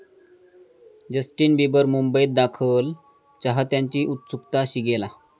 Justin Bieber मुंबईत दाखल, चाहत्यांची उत्सुकता शिगेला